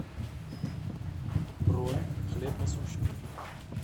бронь хлеб насущный